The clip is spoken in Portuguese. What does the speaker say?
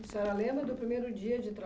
A senhora lembra do primeiro dia de